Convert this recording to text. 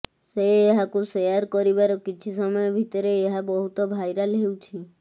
ସେ ଏହାକୁ ସେୟାର କରିବାର କିଛି ସମୟ ଭିତରେ ଏହା ବହୁତ ଭାଇରାଲ ହେଉଛି